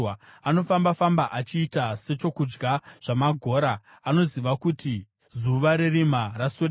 Anofamba-famba achiita sechokudya zvamagora; anoziva kuti zuva rerima raswedera.